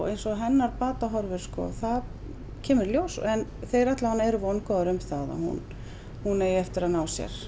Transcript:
ein sog hennar batahorfur það kemur í ljós en þeir eru vongóðir um það að hún hún eigi eftir að ná sér